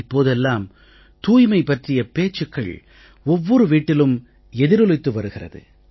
இப்போதெல்லாம் தூய்மை பற்றிய பேச்சுக்கள் ஒவ்வொரு வீட்டிலும் எதிரொலித்து வருகிறது